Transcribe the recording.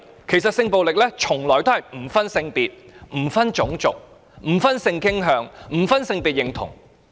其實，性暴力從來不分性別、種族、性傾向及性別認同。